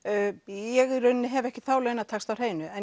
ég í rauninni hef ekki þá launataxta á hreinu en